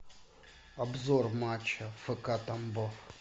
обзор матча фк тамбов